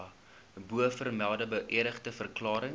bovermelde beëdigde verklarings